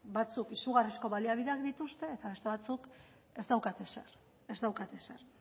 batzuk izugarrizko baliabideak dituzte eta beste batzuk ez daukate ezer ez daukate ezer